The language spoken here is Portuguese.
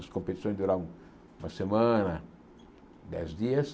As competições duravam uma semana, dez dias.